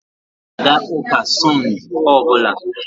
M ga-aga ụka Sund ọ bụla